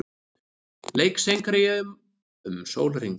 Leik seinkað í Eyjum um sólarhring